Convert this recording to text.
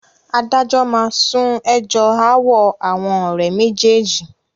Adájọ́ máa sún ẹjọ́ ááwọ̀ àwọn ọ̀rẹ́ méjèèjì